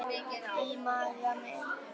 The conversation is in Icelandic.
Í maga mín